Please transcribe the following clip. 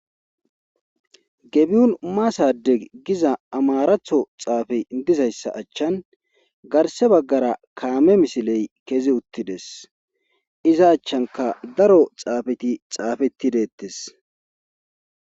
gebiyun maasade giza amaratho xaafey dizayssa achchan garse baggara kaame misiley kezi uttides iza achchanka daro xaafeti xaafeti deettes